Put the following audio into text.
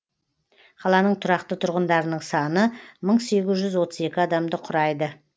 қаланың тұрақты тұрғындарының саны мың сегіз жүз отыз екі адамды құрайды